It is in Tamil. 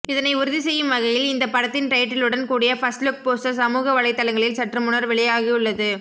இதனை உறுதி செய்யும் வகையில் இந்த படத்தின் டைட்டிலுடன் கூடிய ஃபர்ஸ்ட்லுக் போஸ்டர் சமூக வலைத்தளங்களில் சற்றுமுன்னர் வெளியாகியுள்ளது